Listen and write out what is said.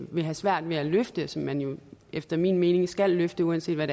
vil have svært ved at løfte men som man efter min mening skal løfte uanset hvad